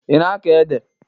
Ị na-akọ ede?